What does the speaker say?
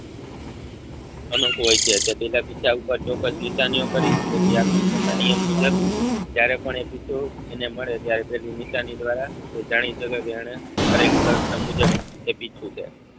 અનોક હોય છે ચોક્કસ નિશાનીયો કરી તેથી આકર્ષણનો નિયમ મુજબ ક્યારે પણ એ ફિતૂર એને મળે ત્યારે તેની નિશાની દ્વારા તે જાણી શકે છે એણે કરેલી કલ્પના મુજબ એ પીછું છે.